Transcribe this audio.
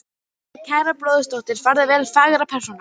Farðu vel, kæra bróðurdóttir, farðu vel fagra persóna.